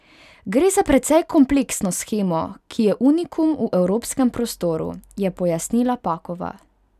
Gre za precej kompleksno shemo, ki je unikum v evropskem prostoru, je pojasnila Pakova.